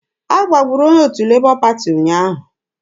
A gbagburu onye otu Lebọ Pati ụnyaahụ.